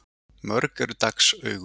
Mörg eru dags augu.